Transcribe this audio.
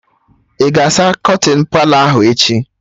Ị ga-asa kọtịn Palọ ahụ echi?